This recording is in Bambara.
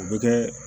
O bɛ kɛ